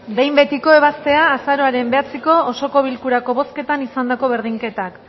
behin betiko ebaztea azaroaren bederatziko osoko bilkurako bozketan izandako berdinketak